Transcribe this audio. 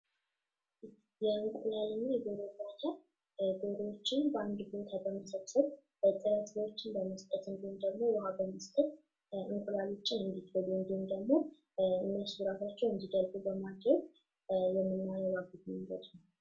የእንቁላል ና የደሮ እርባታ ዶሮዎችን በአንድ ቦታ በመሰብሰብ ጥራጥሬዎችን ና ውሀን በመስጠት እንቁላሎችን እንዲጥሉ ና ራሳቸው እንዲደልቡ በማድረግ የምናረባበት መንገድ ነው